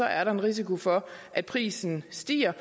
er der en risiko for at prisen stiger